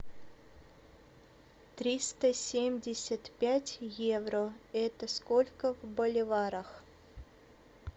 триста семьдесят пять евро это сколько в боливарах